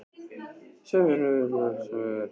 Sem finna síðan til valdsins með prik í hönd?